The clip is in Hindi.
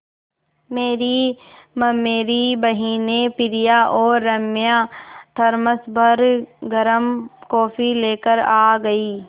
मेरी ममेरी बहिनें प्रिया और राम्या थरमस भर गर्म कॉफ़ी लेकर आ गईं